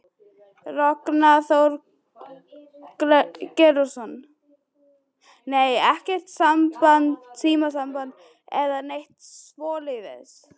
Ragnar Þór Georgsson: Nei, ekkert símasamband eða neitt svoleiðis?